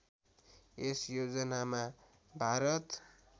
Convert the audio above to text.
यस योजनामा भारत